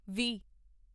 ਵੀਹ